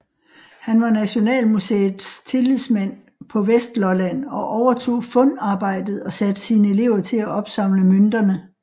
Han var Nationalmuseet tillidsmand på Vestlolland og overtog fundarbejdet og satte sine elever til at opsamle mønterne